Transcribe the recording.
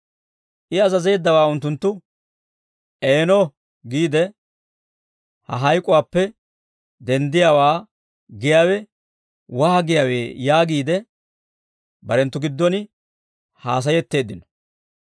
I azazeeddawaa unttunttu, « ‹Eeno› giide, ha hayk'uwaappe denddiyaawaa giyaawe waagiyaawee» yaagiide, barenttu giddon haasayetteeddino.